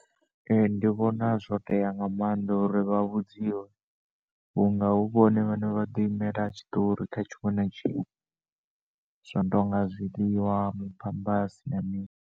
Ee, ndi vhona zwo tea nga maanḓa uri vha vhudziwe vhunga hu vhone vhane vhado imela tshiṱori kha tshinwe na tshinwe zwino tonga zwiḽiwa maphamphasi na mini.